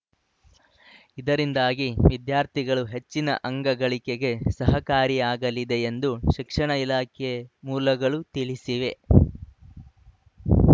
ಇದರಿಂದಾಗಿ ವಿದ್ಯಾರ್ಥಿಗಳು ಹೆಚ್ಚಿನ ಅಂಗ ಗಳಿಕೆಗೆ ಸಹಕಾರಿಯಾಗಲಿದೆ ಎಂದು ಶಿಕ್ಷಣ ಇಲಾಖೆ ಮೂಲಗಳು ತಿಳಿಸಿವೆ